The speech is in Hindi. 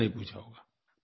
किसी ने नहीं पूछा होगा